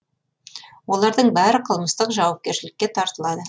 олардың бәрі қылмыстық жауапкершілікке тартылады